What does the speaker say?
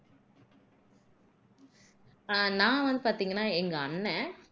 நான் வந்து பாத்தீங்கன்னா எங்க அண்ணன்